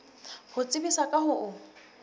ho tsebisa ka ho o